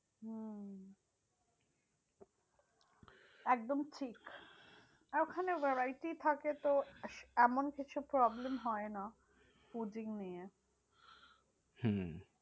একদম ঠিক। ওখানে variety থাকে তো এমন কিছু problem হয় না fooding নিয়ে। হম